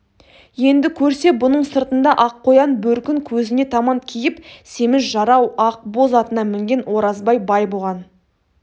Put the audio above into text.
енді көрсе бұның сыртында аққоян бөркін көзіне таман киіп семіз жарау ақ боз атына мінген оразбай бай бұған